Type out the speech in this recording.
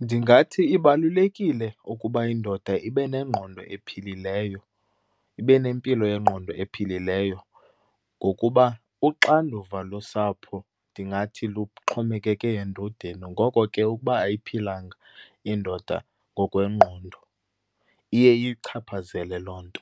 Ndingathi ibalulekile ukuba indoda ibe nengqondo ephilileyo, ibe nempilo yengqondo ephilileyo ngokuba uxanduva losapho ndingathi luxhomekeke endodeni. Ngoko ke ukuba ayiphilanga indoda ngokwengqondo iye iyichaphazele loo nto.